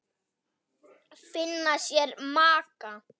Finna sér maka.